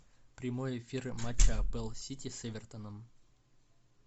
прямой эфир матча апл сити с эвертоном